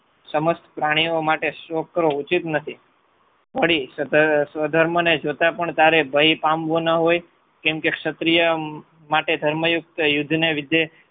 સમસ્ત પ્રાણીઓ માટે શોક કરવો ઉચિત નથી. વળી સ્વધર્મને જોતા તારે ભય પામવો ન હોય કેમ કે ક્ષત્રિય માટે ધર્મયુક્ત યુદ્ધને લીધે